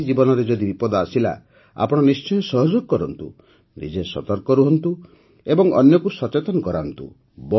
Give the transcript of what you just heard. କାହାରି ଜୀବନରେ ଯଦି ବିପଦ ଆସିଲା ତ ଆପଣ ନିଶ୍ଚୟ ସହଯୋଗ କରନ୍ତୁ ନିଜେ ସତର୍କ ରୁହନ୍ତୁ ଏବଂ ଅନ୍ୟକୁ ସଚେତନ କରାନ୍ତୁ